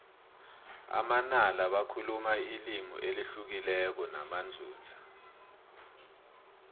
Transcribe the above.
amanala bakhuluma ilimi elihlukileko namanzunza